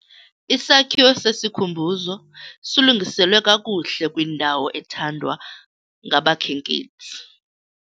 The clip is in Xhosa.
Isakhiwo sesikhumbuzo silungiselwe kakuhle kwindawo ethandwa ngabakhenkethi.